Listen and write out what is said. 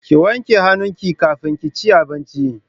Ki wanke hannun ki kafin kici abincin